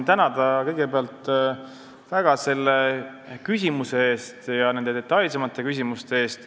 Tahan kõigepealt väga tänada selle küsimuse eest ja detailsemate küsimuste eest.